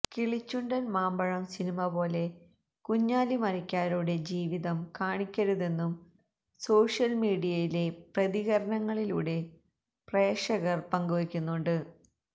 Kilichundan Mampazham cinema പോലെ കുഞ്ഞാലി മരക്കാരുടെ ജീവിതം കാണിക്കരുതെന്നും സോഷ്യല് മീഡിയയിലെ പ്രതികരണങ്ങളിലൂടെ പ്രേക്ഷകര് പങ്ക് വെക്കുന്നുണ്ട്